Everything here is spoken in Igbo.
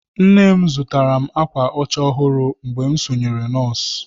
Nne m zụtara m ákwà ọcha ọhụrụ mgbe m sonyere nọọsụ.